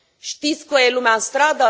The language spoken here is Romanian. Știți că este lumea în stradă?